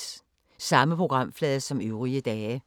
Samme programflade som øvrige dage